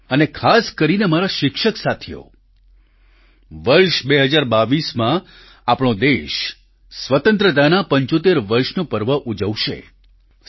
સાથીઓ અને ખાસ કરીને મારા શિક્ષક સાથીઓ વર્ષ 2022માં આપણો દેશ સ્વતંત્રતાના 75 વર્ષનો પર્વ ઉજવશે